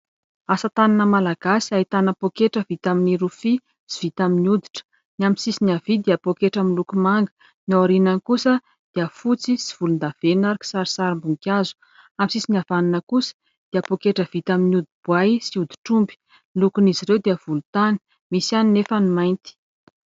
Asatanana malagasy, ahitana poketra vita amin'ny rofia sy vita amin'ny hoditra ; ny amin'ny sisiny havia dia poketra miloko manga ; ny ao aorinany kosa dia fotsy sy volondavenona ary kisarisarim-boninkazo ; amin'ny sisiny havanana kosa dia poketra vita amin'ny hodi-boay sy hoditr'omby ; ny lokon'izy ireo dia volontany, misy ihany anefa ny mainty.